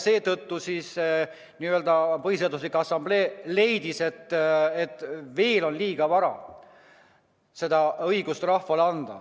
Seetõttu Põhiseaduse Assamblee leidis, et on vara rahvale see õigus anda.